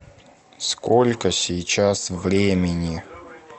сколько сейчас времени